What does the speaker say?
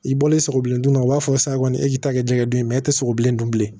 I bɔlen sogo bilen dun a b'a fɔ sa kɔni e k'i ta kɛ diɲɛ don mɛ e tɛ sogo bilen dun bilen